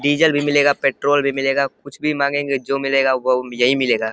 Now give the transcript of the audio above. Diesel भी मिलेगा petrol भी मिलेगा। कुछ भी मांगेंगे जो मिलेगा वो यहीं मिलेगा।